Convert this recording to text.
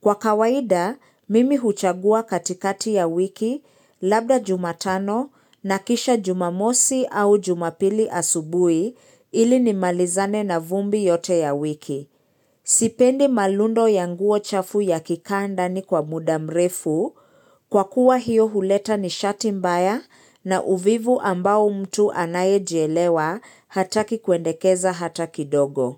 Kwa kawaida, mimi huchagua katikati ya wiki labda jumatano na kisha jumamosi au jumapili asubuhi ili ni malizane na vumbi yote ya wiki. Sipendi malundo ya nguo chafu ya kikaandani kwa mudamrefu kwa kuwa hiyo huleta ni shati mbaya na uvivu ambao mtu anaye jielewa hata kikuendekeza hata kidogo.